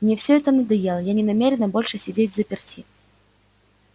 мне всё это надоело я не намерена больше сидеть взаперти